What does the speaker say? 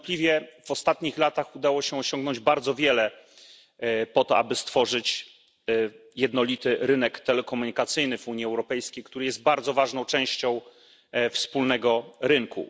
Niewątpliwie w ostatnich latach udało się osiągnąć bardzo wiele po to, aby stworzyć jednolity rynek telekomunikacyjny w Unii Europejskiej, który jest bardzo ważną częścią wspólnego rynku.